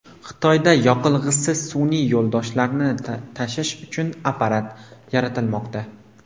Xitoyda yoqilg‘isiz sun’iy yo‘ldoshlarni tashish uchun apparat yaratilmoqda.